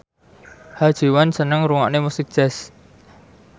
Ha Ji Won seneng ngrungokne musik jazz